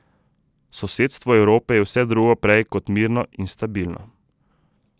Sosedstvo Evrope je vse drugo prej kot mirno in stabilno.